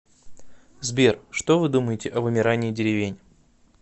сбер что вы думаете о вымирании деревень